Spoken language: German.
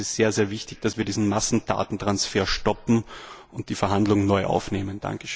Ich denke, es ist sehr wichtig, dass wir diesen Massendatentransfer stoppen und die Verhandlungen neu aufnehmen.